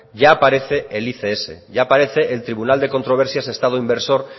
ya aparece el ics ya aparece el tribunal de controversias estado inversor